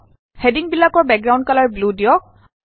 হেডিংবিলাকৰ background colour blue দিয়ক